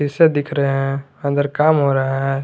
दिख रहे हैं अंदर काम हो रहा है।